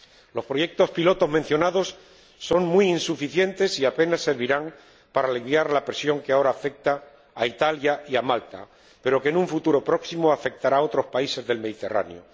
Los proyectos piloto mencionados son muy insuficientes y apenas servirán para aliviar la presión que ahora afecta a Italia y a Malta pero que, en un futuro próximo, afectará a otros países del Mediterráneo.